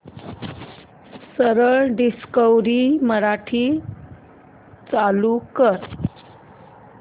सरळ डिस्कवरी मराठी चालू कर